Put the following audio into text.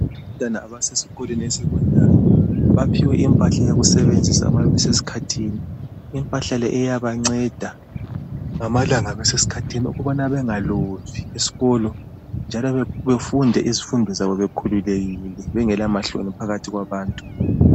Abantwana abasesikolweni (esekhondari). Baphiwe impahla yokusebenzisa ma beseskhathini. Impahla le iyabanceda ngamalanga beseskhathini ukubana bengalovi eskolo, njalo befunde izifundo zabo bekhululekile, bengelamahloni phakathi kwabantu.